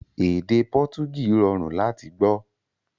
Èdè Pọtugí rọrùn láti gbọ́